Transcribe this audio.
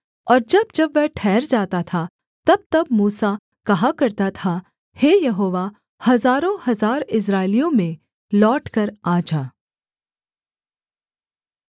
और जब जब वह ठहर जाता था तबतब मूसा कहा करता था हे यहोवा हजारोंहजार इस्राएलियों में लौटकर आ जा